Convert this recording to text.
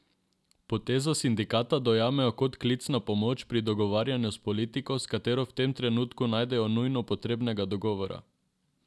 Potezo sindikata dojemajo kot klic na pomoč pri dogovarjanju s politiko, s katero v tem trenutku ne najdejo nujno potrebnega dogovora.